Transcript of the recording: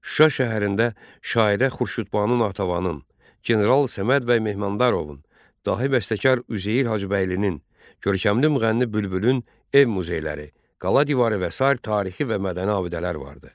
Şuşa şəhərində şairə Xurşudbanu Natəvanın, general Səmədbəy Mehmandarovun, dahi bəstəkar Üzeyir Hacıbəylinin, görkəmli müğənni Bülbülün ev muzeyləri, qala divarı və sair tarixi və mədəni abidələr vardı.